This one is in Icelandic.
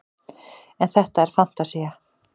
en þetta er fantasía